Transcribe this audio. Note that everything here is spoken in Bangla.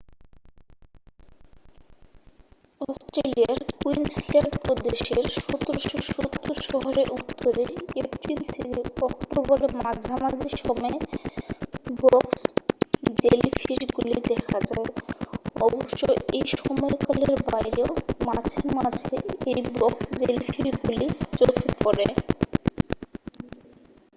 অস্ট্রেলিয়ার কুইন্সল্যান্ড প্রদেশের '1770' শহরের উত্তরে এপ্রিল থেকে অক্টোবরের মাঝামাঝি সময়ে বক্স জেলিফিশগুলি দেখা যায়। অবশ্য এই সময়কালের বাইরেও মাঝে মাঝে এই বক্স জেলিফিশগুলি চোখে পড়ে।